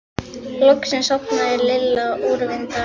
Loksins sofnaði Lilla úrvinda af þreytu.